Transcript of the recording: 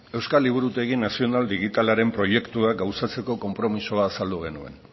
euskal liburutegi nazional digitalaren proiektua gauzatzeko konpromisoa azaldu genuen